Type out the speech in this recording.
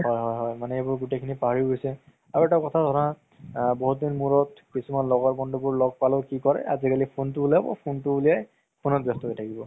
হয় হয় হয় মানে এইবোৰ গুতেইখিনি পাহৰি গৈছে আৰু এটা কথা ধৰা আ বহুত দিন মুৰত কিছুমান লগৰ বন্ধুবোৰ ল'গ পালো আজিকালি কি কৰিব phone তো উলিয়াই phone ত ব্যস্ত হয় থাকিব